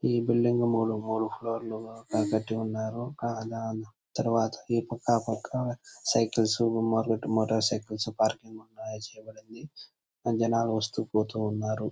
ఈ బిల్డింగ్ మూడు ఫ్లోర్ లోనే కన్స్ట్రక్షన్ చేసి ఉన్నారు. అలా తర్వాత ఈ పక్క ఆ పక్క సైకిల్స్ మొదలైనవి మోటార్ సైకిల్ పార్కింగ్ చేయబడడం జరిగిం. ది అది అలా వస్తు పోతుంటాయి.